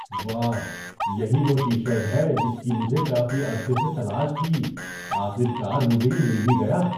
واہ! یہی وہ ٹی شرٹ ہے جس کی مجھے کافی عرصے سے تلاش تھی۔ آخر کار، مجھے یہ مل ہی گیا۔